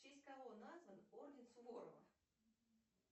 в честь кого назван орден суворова